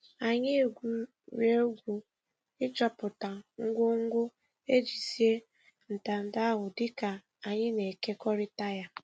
Anyị egwuregwu ịchọpụta ngwo ngwo e ji sie ntanta ahụ dịka anyị na-ekekorita ya.